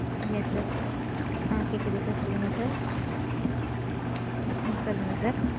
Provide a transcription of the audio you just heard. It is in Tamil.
yes sir. ஆஹ் கேக்குது sir சொல்லுங்க sir. உம் சொல்லுங்க sir.